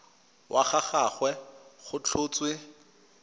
wa ga gagwe go tlhotswe